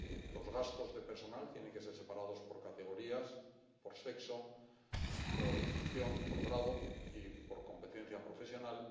Los gastos de personal tienen que ser separados por categorías, por sexo, por función, por grado y por competencia profesional.